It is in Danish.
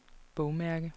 bogmærke